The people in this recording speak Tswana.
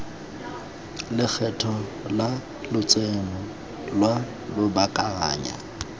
lekgetho la lotseno lwa lobakanyana